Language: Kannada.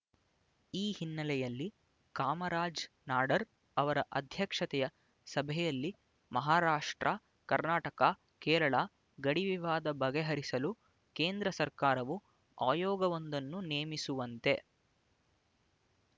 ಈ ಹಿನ್ನಲೆಯಲ್ಲಿ ಕಾಮರಾಜ ನಾಡಾರ್ ಅವರ ಅಧ್ಯಕ್ಷತೆಯ ಸಭೆಯಲ್ಲಿ ಮಾಹಾರಾಷ್ಟ್ರ ಕರ್ನಾಟಕ ಕೇರಳ ಗಡಿವಿವಾದ ಬಗೆಹರಿಸಲು ಕೇಂದ್ರ ಸರಕಾರವು ಆಯೋಗವೊಂದನ್ನು ನೇಮಿಸುವಂತೆ